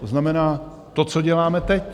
To znamená to, co děláme teď.